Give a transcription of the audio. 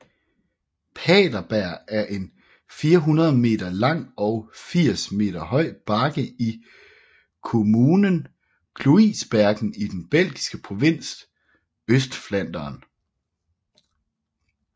Paterberg er en 400 meter lang og 80 meter høj bakke i kommunen Kluisbergen i den belgiske provins Østflandern